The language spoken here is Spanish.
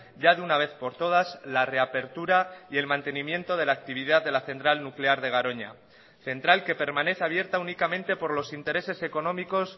ya de una vez por todas la reapertura y el mantenimiento de la actividad de la central nuclear de garoña central que permanece abierta únicamente por los intereses económicos